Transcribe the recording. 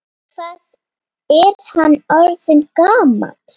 Hvað er hann orðinn gamall?